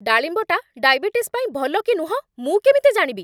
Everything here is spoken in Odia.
ଡାଳିମ୍ବଟା ଡାଇବେଟିସ୍ ପାଇଁ ଭଲ କି ନୁହଁ ମୁଁ କେମିତି ଜାଣିବି?